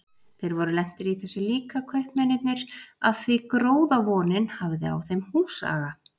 Þeir voru lentir í þessu líka, kaupmennirnir, af því gróðavonin hafði á þeim húsaga.